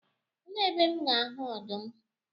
Elee ebe M ga-ahụ ọdụm?